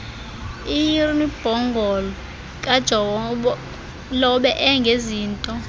irnibongo kajolobe engezinto